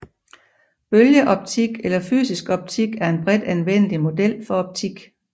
Bølgeoptik eller fysisk optik er en bredt anvendelig model for optik